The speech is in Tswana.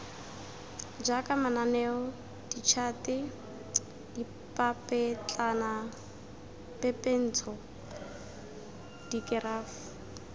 jaaka mananeo ditšhate dipapetlanapepentsho dikerafo